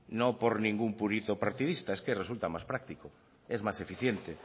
no por ningún purito partidista es que resulta más práctico es más eficiente